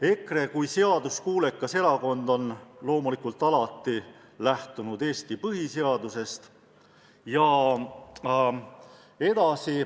EKRE kui seaduskuulekas erakond on loomulikult alati lähtunud Eesti põhiseadusest.